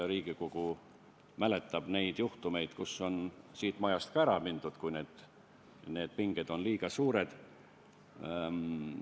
Riigikogu mäletab juhtumeid, kui on siit majast ka ära mindud, sest pinged olid liiga suured.